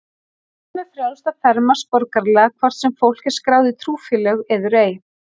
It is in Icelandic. Öllum er frjálst að fermast borgaralega, hvort sem fólk er skráð í trúfélög eður ei.